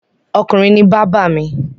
Ọkùnrin ni bábà mi.